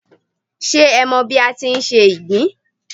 Ṣé o mọ bí a ti ń se ìgbín